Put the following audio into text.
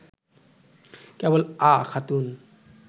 কেবল “আ” খাতুন